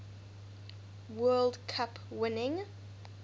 world cup winning